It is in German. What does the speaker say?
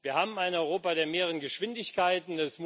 Wir haben ein Europa der mehreren Geschwindigkeiten.